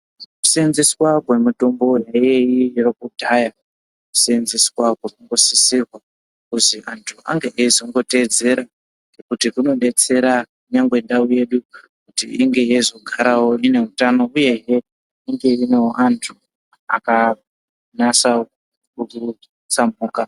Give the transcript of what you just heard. Kuseenzeswa kwemitombo iyoyi yekudhaya, kuseenzeswa kunosise kuzi antu ange eizoteedzera nekuti kunobetsera ndau yedu kuti izogara ine utano uyezve ine antu akanase kusamhuka.